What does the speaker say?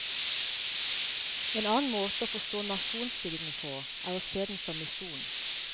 En annen måte å forstå nasjonsbyggingen på, er å se den som misjon.